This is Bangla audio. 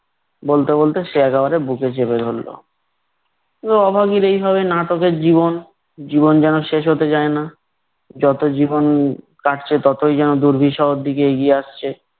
বলতে বলতে সে একেবারে বুকে চেপে ধরলো। অভাগীর এইভাবে নাটকের জীবন। জীবন যেন শেষ হতে চায় না। যত জীবন কাটছে ততই যেন দুর্বিষহর দিকে এগিয়ে আসছে।